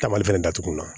Taamali fɛnɛ datugulan